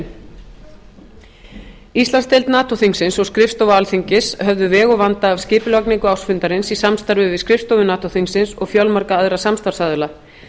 fimm íslandsdeild nato þingsins og skrifstofa alþingis höfðu veg og vanda af skipulagningu ársfundarins í samstarfi við skrifstofu nato þingsins og fjölmarga aðra samstarfsaðila